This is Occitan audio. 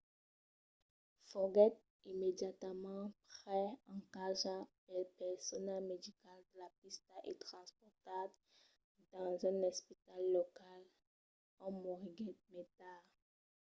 foguèt immediatament pres en carga pel personal medical de la pista e transportat dins un espital local ont moriguèt mai tard